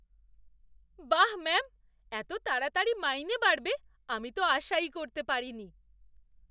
বাহ্, ম্যাম! এত তাড়াতাড়ি মাইনে বাড়বে আমি তো আশাই করতে পারিনি!